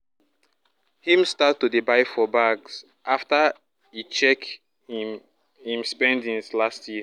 him start to dey buy for bags after e check him him spendings last year